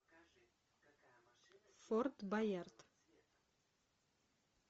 форт боярд